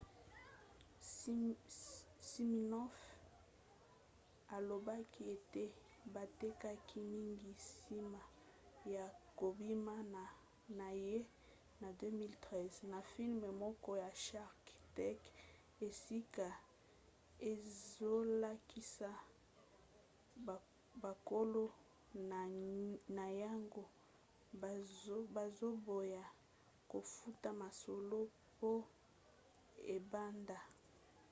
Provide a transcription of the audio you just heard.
siminoff alobaki ete batekaki mingi nsima ya kobima na ye na 2013 na filme moko ya shark tank esika ezolakisa bakolo na yango bazoboya kofuta mosolo po ebanda